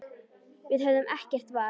Við höfðum ekkert val.